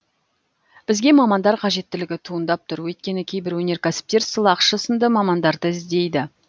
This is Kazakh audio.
бізге мамандар қажеттілігі туындап тұр өйткені кейбір өнеркәсіптер сылақшы сынды мамандарды іздейді